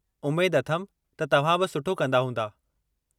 उमेद अथमि त तव्हां बि सुठो कंदा हूंदा!